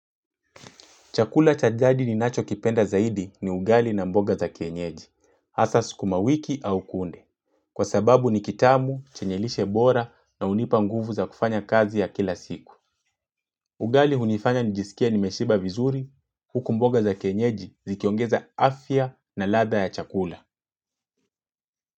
Chakula cha jadi ninacho kipenda zaidi ni ugali na mboga za kienyeji, asas kumawiki au kunde. Kwa sababu ni kitamu, chenyelishe bora na hunipa nguvu za kufanya kazi ya kila siku. Ugali hunifanya nijisikia nimeshiba vizuri, huku mboga za kienyeji zikiongeza afya na ladha ya chakula.